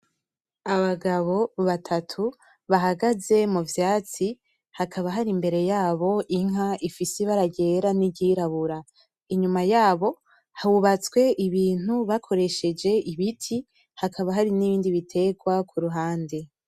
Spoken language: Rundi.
Abagabo batatu bahagaze muvyatsi haka hari imbere yabo inka ifise ibara ryera n'iryirabura inyuma yabo hubatswe ibintu bakoresheje ibiti, hakaba hari n'ibindi biterwa kuruhande